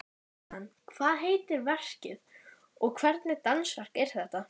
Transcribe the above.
Jóhann, hvað heitir verkið og hvernig dansverk er þetta?